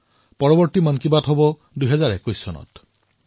পৰৱৰ্তী মন কী বাত ২০২১ বৰ্ষত আৰম্ভ হব